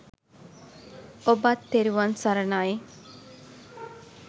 ඔබත් තෙරුවන් සරණයි !